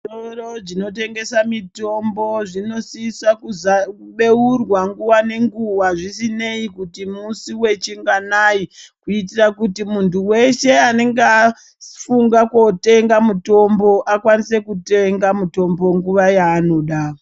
Zvitoro zvinotengesa mitombo zvinosisa kubeurwa nguwa nenguwa zvisinei kuti musi wechinganai, kuitira kuti muntu weshe anenge afunga kotenga mutombo akwanise kutenga mitombo nguwa yaanoda.